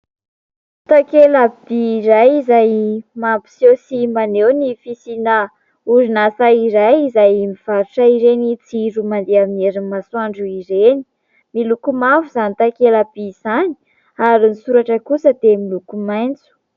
Takela-by iray izay mampiseho sy maneho ny fisiana orinasa iray izay mivarotra ireny jiro mandeha aminy herin'ny masoandro ireny. Miloko mavo izany takela-by izany ary ny soratra kosa dia miloko maitso.